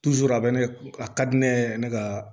a bɛ ne a ka di ne yɛrɛ ne ka